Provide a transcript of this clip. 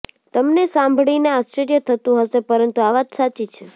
તમને સાંભળીને આશ્ચર્ય થતું હશે પરંતુ આ વાત સાચી છે